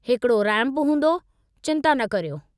हिकड़ो रैम्पु हूंदो, चिंता न करियो।